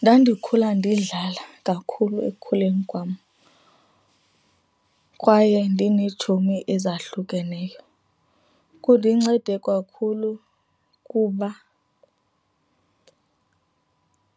Ndandikhula ndidlala kakhulu ekukhuleni kwam kwaye ndineetshomi ezahlukeneyo. Kundincede kakhulu kuba